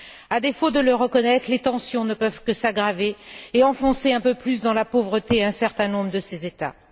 À défaut de le reconnaître, les tensions ne peuvent que s'aggraver et enfoncer un peu plus dans la pauvreté un certain nombre de ces États.